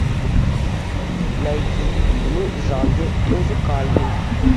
найти фильмы в жанре музыкальный